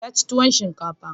Ya ci tuwon shinkafa.